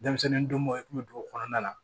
Denmisɛnnin dɔn i tun bɛ dugu kɔnɔna na